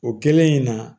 O kɛlen in na